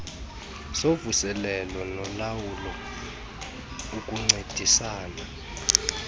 zovuselelo nolawulo ukuncedisana